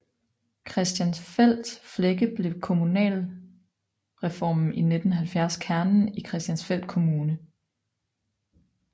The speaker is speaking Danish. Christiansfeld Flække blev ved kommunalreformen i 1970 kernen i Christiansfeld Kommune